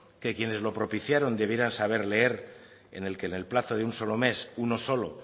que quienes lo propiciaron debieran saber leer en el que en el plazo de un solo mes uno solo